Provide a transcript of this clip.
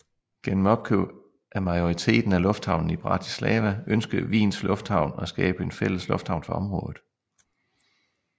Gennem opkøb af majoriteten af lufthavnen i Bratislava ønskede Wiens Lufthavn at skabe en fælles lufthavn for området